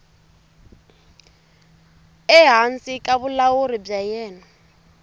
ehansi ka vulawuri bya yena